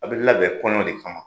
A bi labɛn kɔɲɔ de kama.